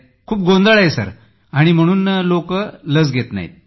खूप गोंधळ आहे सर म्हणूनच लोक लस घेत नाहीत